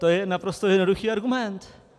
To je naprosto jednoduchý argument.